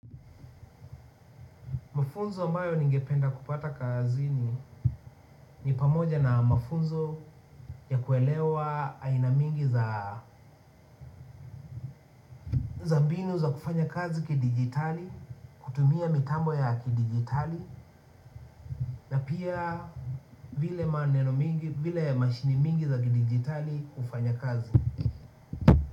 Mafunzo mbayo ningependa kupata kazini ni pamoja na mafunzo ya kuelewa aina mingi za za mbinu za kufanya kazi kidigitali, kutumia mitambo ya kidigitali na pia vile maneno mengi, vile mashine nyingi za kidigitali hufanya kazi.